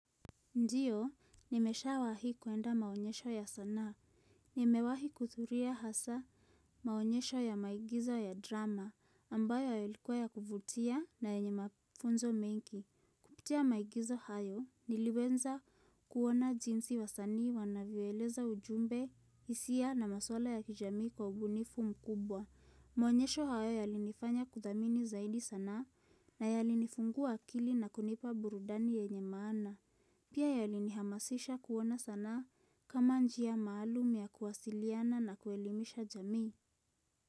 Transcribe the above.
Ndio, nimesha wahi kuenda maonyesho ya sanaa, nimewahi kuthuria hasa maonyesho ya maigizo ya drama, ambayo yalikuwa ya kuvutia na yenye mafunzo mengi. Kupitia maigizo hayo, niliwenza kuona jinsi wasanii wanavyoeleza ujumbe isia na maswala ya kijamii kwa ubunifu mkubwa. Maonyesho hayo yalifanya kuthamini zaidi sanaa na yalinifungua akili na kunipa burudani yenye maana. Pia yalini hamasisha kuona sanaa kama njia maalum ya kuwasiliana na kuelimisha jamii.